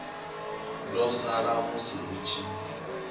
ḓo sala musi hu tshi